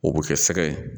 O bɛ kɛ sɛgɛ ye